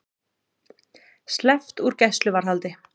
Sleppt úr gæsluvarðhaldi